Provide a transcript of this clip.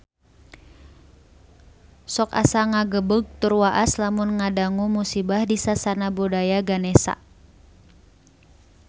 Sok asa ngagebeg tur waas lamun ngadangu musibah di Sasana Budaya Ganesha